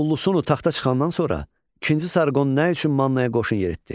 Ullusunu taxta çıxandan sonra ikinci Sarqon nə üçün Mannaya qoşun yeritdi?